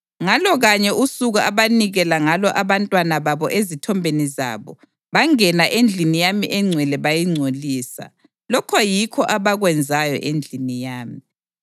Ngalo kanye usuku abanikela ngalo abantwana babo ezithombeni zabo, bangena endlini yami engcwele bayingcolisa. Lokho yikho abakwenzayo endlini yami.